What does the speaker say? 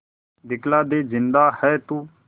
दिखला दे जिंदा है तू